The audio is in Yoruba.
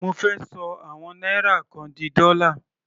Mo fẹ́ ṣọ àwọn náírà kan di dọ́là.